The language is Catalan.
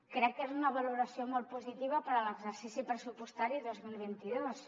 crec que és una valoració molt positiva per a l’exercici pressupostari dos mil vint dos